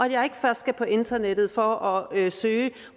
jeg ikke først skal på internettet for at søge